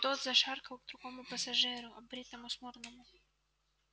тот зашаркал к другому пассажиру обритому смурному